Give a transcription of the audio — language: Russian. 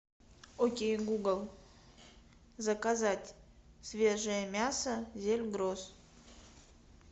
окей гугл заказать свежее мясо зельгрос